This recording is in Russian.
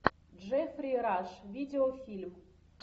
джеффри раш видеофильм